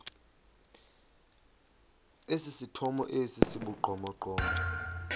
esithomo esi sibugqomogqomo